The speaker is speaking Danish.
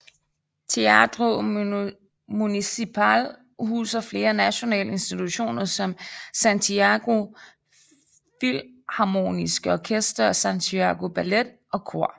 Teatro Municipal huser flere nationale institutioner som Santiago Filharmoniske Orkester og Santiago Ballet og Kor